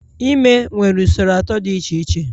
Ime nwere usoro atọ dị iche iche